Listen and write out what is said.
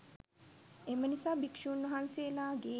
එම නිසා භික්‍ෂූන් වහන්සේලාගේ